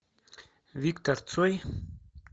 виктор цой